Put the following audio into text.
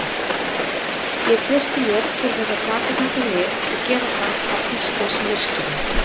Ég treysti mér til þess að taka þetta lið og gera það að Íslandsmeisturum.